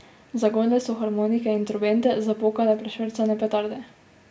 Zagodle so harmonike in trobente, zapokale prešvercane petarde.